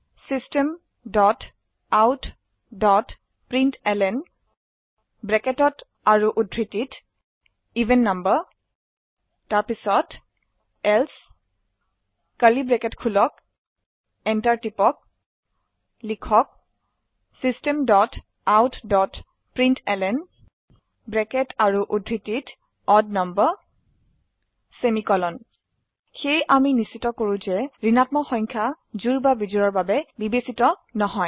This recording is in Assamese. Systemoutprintlnএভেন নাম্বাৰ এলছে enter টিপক লিখক Systemoutprintlnঅড নাম্বাৰ সেয়ে আমি নিশ্চিত কৰো যে ঋণাত্মক সংখ্যা জোড় বা বিজোড়ৰ বাবে বিবেচিত নহয়